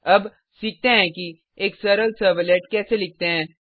अब सीखते हैं कि एक सरल सर्वलेट कैसे लिखते हैं